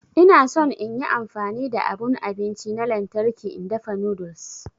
Ina son in yi amfani da abun abinci na lantarki in dafa noodles.